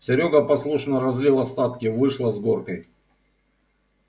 серёга послушно разлил остатки вышло с горкой